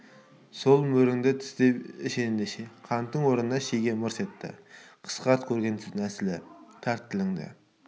сол мөріңді тістеп іш ендеше қанттың орнына шеге мырс етті қысқарт көргенсіздің нәсілі тарт тілінді